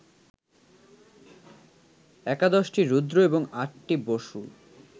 একাদশটি রুদ্র এবং আটটি বসু